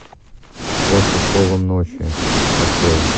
под покровом ночи открой